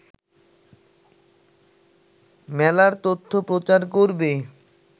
মেলার তথ্য প্রচার করবে